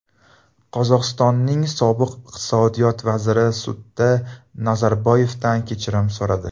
Qozog‘istonning sobiq iqtisodiyot vaziri sudda Nazarboyevdan kechirim so‘radi.